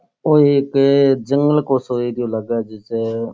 ओ एक जंगल को सो एरिया लाग जिसा --